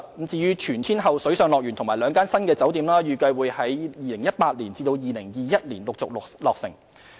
至於全天候水上樂園和兩間新酒店，預計會在2018年至2021年陸續落成。